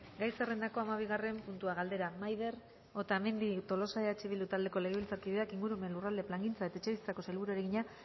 gai zerrendako hamabigarren puntua galdera maider otamendi tolosa eh bildu taldeko legebiltzarkideak ingurumen lurralde plangintza eta etxebizitzako sailburuari egina